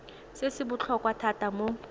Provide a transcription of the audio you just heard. se se botlhokwa thata mo